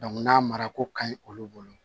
n'a mara ko ka ɲi olu bolo